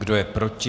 Kdo je proti?